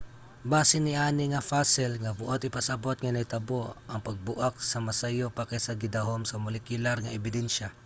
base niani nga fossil nga buot ipasabot nga nahitabo ang pagbuak nga mas sayo pa kaysa sa gidahom sa molekular nga ebidensya